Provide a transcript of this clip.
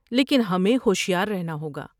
لیکن ہمیں ہوشیار رہنا ہوگا۔